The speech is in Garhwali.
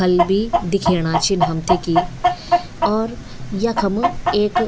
फल भी दिखेणा छिन हमथे कि और यखम एक --